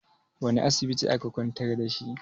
wane asibiti aka kwantar da shi?